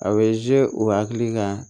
A bɛ u hakili kan